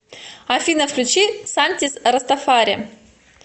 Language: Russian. афина включи сантиз растафари